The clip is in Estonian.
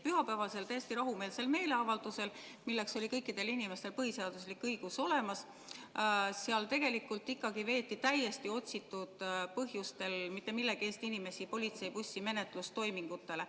Pühapäevasel täiesti rahumeelsel meeleavaldusel, milleks oli kõikidel inimestel põhiseaduslik õigus olemas, tegelikult ikkagi veeti täiesti otsitud põhjustel ja mitte millegi eest inimesi politseibussi menetlustoimingutele.